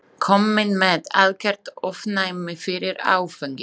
Kominn með algert ofnæmi fyrir áfengi.